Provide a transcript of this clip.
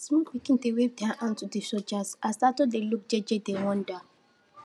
small pikin dem wave their hand to de soldiers as adults dey look jeje dey wonder